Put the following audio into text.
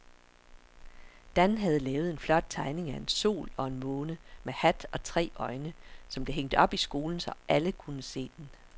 Dan havde lavet en flot tegning af en sol og en måne med hat og tre øjne, som blev hængt op i skolen, så alle kunne se den.